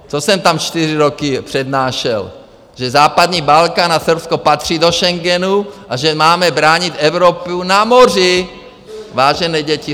Co jsem tam čtyři roky přednášel, že západní Balkán a Srbsko patří do Schengenu a že máme bránit Evropu na moři, vážené děti.